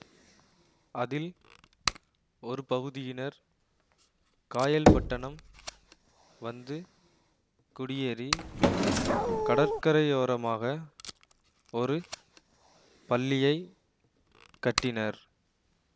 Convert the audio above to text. அதில் ஒரு பகுதியினர் காயல்பட்டணம் வந்து குடியேறி கடற்கரையோரமாக ஒரு பள்ளியைக் கட்டினர்